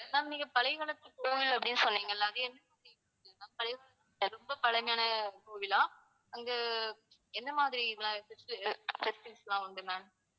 ma'am நீங்கப் பழைய காலத்து கோவில் அப்படின்னு சொன்னீங்கல்ல அது என்ன ma'am? பழைய காலத்து ரொம்ப பழமையான கோவிலா? அங்க என்ன மாதிரி எல்லாம் உண்டு ma'am